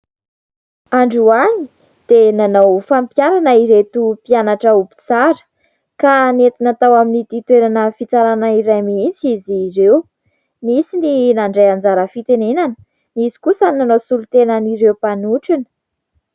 Androany dia nanao fampiharana ireto mpianatra ho mpitsara, ka nentina tao amin'ity toerana fitsarana iray mihitsy izy ireo. Nisy ny nandray anjara fitenenana, nisy kosa ny nanao solotenan'ireo mpanotrona.